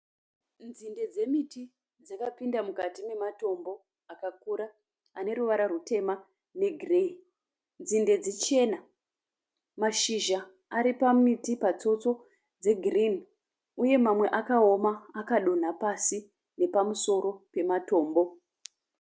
Nzinde dzemiti dzakapinda mukati mematombo akakura ane ruvara rutema negireyi. Nzinde dzichena. Mashizha ari pamiti patsotso dzegirini uye mamwe akaoma akadonha pasi nepamusoro pematombo.